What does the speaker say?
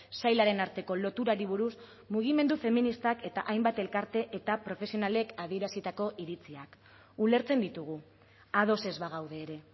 sailaren arteko loturari buruz mugimendu feministak eta hainbat elkarte eta profesionalek adierazitako iritziak ulertzen ditugu ados ez bagaude ere